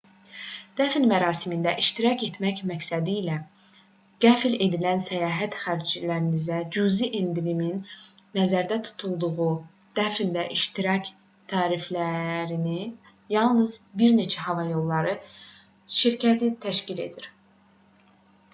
dəfn mərasimində iştirak etmək məqsədilə qəfil edilən səyahət xərclərinə cüzi endirimin nəzərdə tutulduğu dəfndə iştirak tariflərini yalnız bir neçə hava yolları şirkəti təklif edir